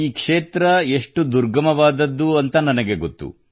ಈ ಕ್ಷೇತ್ರ ಎಷ್ಟು ದುರ್ಗಮವಾದದ್ದು ಎಂದು ನನಗೆ ಗೊತ್ತು